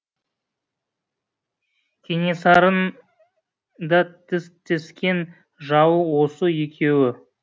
кенесарын да тістескен жауы осы екеуі